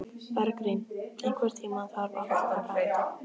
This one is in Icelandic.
Bergrín, einhvern tímann þarf allt að taka enda.